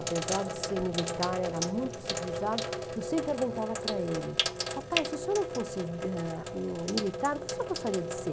Apesar de ser militar, era muito civilizado, eu sempre perguntava para ele, papai, se o senhor não fosse ãh militar, o que o senhor gostaria de ser?